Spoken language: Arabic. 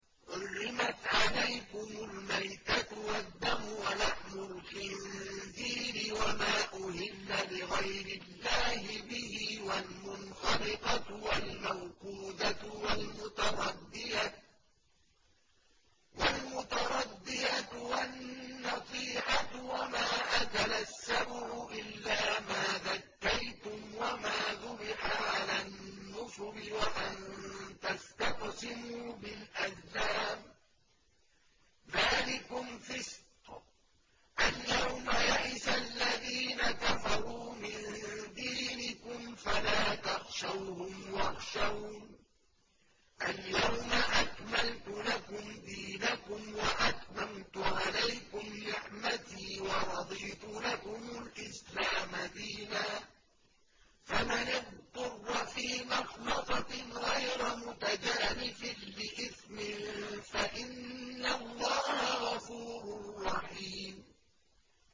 حُرِّمَتْ عَلَيْكُمُ الْمَيْتَةُ وَالدَّمُ وَلَحْمُ الْخِنزِيرِ وَمَا أُهِلَّ لِغَيْرِ اللَّهِ بِهِ وَالْمُنْخَنِقَةُ وَالْمَوْقُوذَةُ وَالْمُتَرَدِّيَةُ وَالنَّطِيحَةُ وَمَا أَكَلَ السَّبُعُ إِلَّا مَا ذَكَّيْتُمْ وَمَا ذُبِحَ عَلَى النُّصُبِ وَأَن تَسْتَقْسِمُوا بِالْأَزْلَامِ ۚ ذَٰلِكُمْ فِسْقٌ ۗ الْيَوْمَ يَئِسَ الَّذِينَ كَفَرُوا مِن دِينِكُمْ فَلَا تَخْشَوْهُمْ وَاخْشَوْنِ ۚ الْيَوْمَ أَكْمَلْتُ لَكُمْ دِينَكُمْ وَأَتْمَمْتُ عَلَيْكُمْ نِعْمَتِي وَرَضِيتُ لَكُمُ الْإِسْلَامَ دِينًا ۚ فَمَنِ اضْطُرَّ فِي مَخْمَصَةٍ غَيْرَ مُتَجَانِفٍ لِّإِثْمٍ ۙ فَإِنَّ اللَّهَ غَفُورٌ رَّحِيمٌ